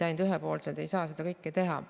Ainult ühepoolselt ei saa seda kõike teha.